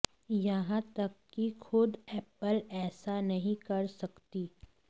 यहां तक की खुद एप्पल ऐसा नहीं कर सकती